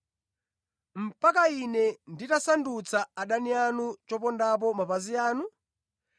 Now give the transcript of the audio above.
mpaka Ine nditasandutsa adani anu chopondapo mapazi anu?’